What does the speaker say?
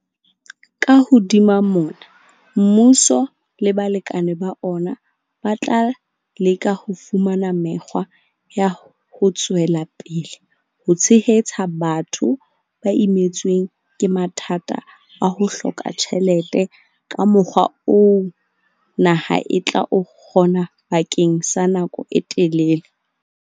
Ka hodima mona, mmuso le balekane ba ona ba tla leka ho fumana mekgwa ya ho tswela pele ho tshehetsa batho ba imetsweng ke mathata a ho hloka tjhelete ka mokgwa oo naha e tla o kgona bakeng sa nako e telele.